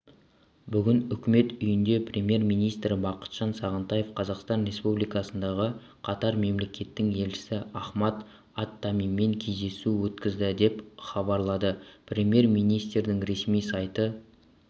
бүгін үкімет үйінде премьер-министрі бақытжан сағынтаев қазақстан республикасындағы катар мемлекетінің елшісі ахмад ат-тамимимен кездесу өткізді деп хабарлады премьер-министрдің ресми сайты